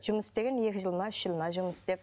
жұмыс істеген екі жыл ма үш жыл ма жұмыс істеп